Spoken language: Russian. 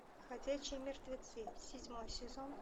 ходячие мертвецы седьмой сезон